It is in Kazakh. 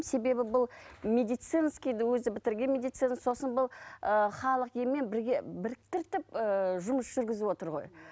себебі бұл медицинскийді өзі бітірген медицина сосын бұл ы халық емімен бірге біріктіртіп ыыы жұмыс жүргізіп отыр ғой